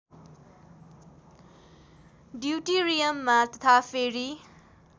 ड्युटिरियममा तथा फेरि